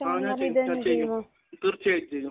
ആഹ്. ഞാൻ ചെയ്യും. തീർച്ചയായിട്ടും ചെയ്യും.